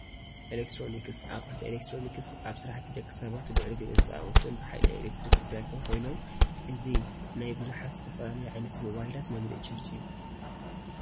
ኤሌክትሮኒክስ፡- ኣቕሑት ኤሌክትሮኒክስ ኣብ ስራሕቲ ደቂ ሰባት ልዑል ግደ ዝፃወቱን ብሓይሊ ኤሌክትሪክ ዝሰርሑን ኮይኖም እዚ ናይ ብዙሓት ዝተፈላለዩ ዓይነታት ሞባይላት መምልኢ ቻርጅ እዩ፡፡